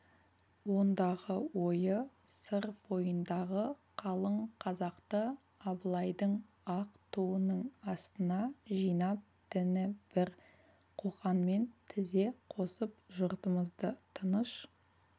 ондағы ойы сыр бойындағы қалың қазақты абылайдың ақ туының астына жинап діні бір қоқанмен тізе қосып жұртымызды тыныш